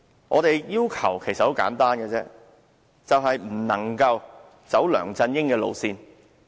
我們的要求其實很簡單，就是"不能走梁振英的路線"。